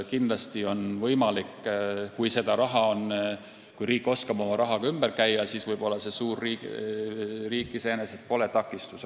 Kindlasti on see võimalik – kui raha on ja kui riik oskab sellega ümber käia, siis võib-olla pole suur riik iseenesest takistus.